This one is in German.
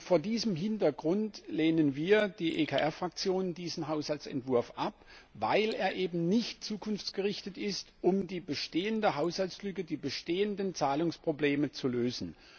Vor diesem Hintergrund lehnen wir die EKR Fraktion diesen Haushaltsentwurf ab, weil er eben nicht zukunftsgerichtet ist, um die bestehende Haushaltslücke, die bestehenden Zahlungsprobleme zu lösen.